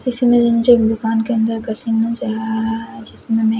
इसी में रंजक दुकान के अंदर कसिम चेहरा आ रहा है जिसमे में--